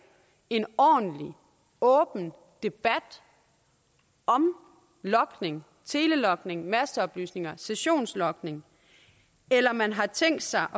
en ordentlig åben debat om logning telelogning masteoplysninger sessionslogning eller om man har tænkt sig